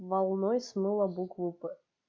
волной смыло букву п